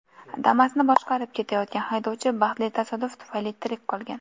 Damas’ni boshqarib ketayotgan haydovchi baxtli tasodif tufayli tirik qolgan.